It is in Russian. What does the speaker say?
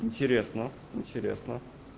интересно интересно